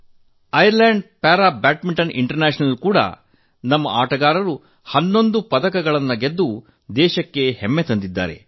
ಐರ್ land para badminton international ನಲ್ಲಿ ಕೂಡಾ ನಮ್ಮ ಆಟಗಾರರು 11 ಪದಕಗಳನ್ನು ಗೆದ್ದು ದೇಶಕ್ಕೆ ಹೆಮ್ಮೆ ತಂದಿದ್ದಾರೆ